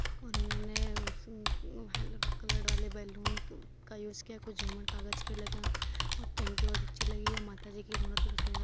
और उन्होंने नये सुन हलो कलर्ड वाले बैलून का यूज किया है। कुछ झूमर कागज के लगे हुए है और टेंट बहुत अच्छी लगी है। माताजी की मूर्ति को सुन्दर --